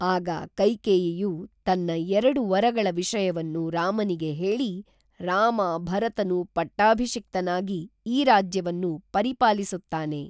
ಆಗ ಕೈಕೇಯಿಯು ತನ್ನ ಎರಡು ವರಗಳ ವಿಷಯವನ್ನು ರಾಮನಿಗೆ ಹೇಳಿ ರಾಮ ಭರತನು ಪಟ್ಟಾಭಿಷಿಕ್ತನಾಗಿ ಈ ರಾಜ್ಯವನ್ನು ಪರಿಪಾಲಿಸುತ್ತಾನೆ